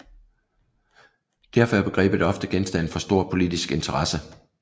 Derfor er begrebet ofte genstand for stor politisk interesse